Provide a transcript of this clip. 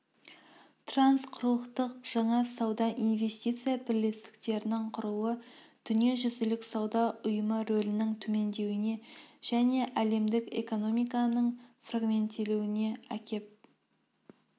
трансқұрылықтық жаңа сауда-инвестиция бірлестіктерінің құрылуы дүниежүзілік сауда ұйымы рөлінің төмендеуіне және әлемдік экономиканың фрагменттелуіне әкеп